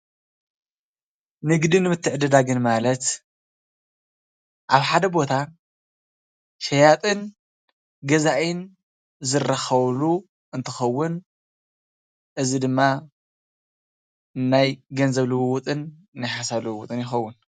ንግድን ምተዕድዳግን ማለት አብ ሓደ ቦታ ሸያጥን ገዛእን ዝራከብሉ እንትከውን እዚ ድማ ናይ ገንዘብ ልውውጥን ናይ ሓሳብ ልውውጥን ይከውን ።